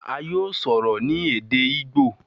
a yóò sọrọ ni Èdè Igbo.